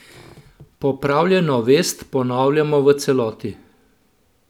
Popravljeno vest ponavljamo v celoti.